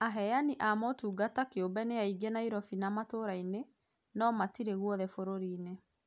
Aheani a motungata kĩũmbe nĩ aingĩ Nairobi na mataũni-inĩ no matirĩ guothe bũrũri-inĩ